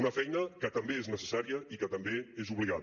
una feina que també és necessària i que també és obligada